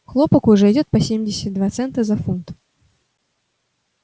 хлопок уже идёт по семьдесят два цента за фунт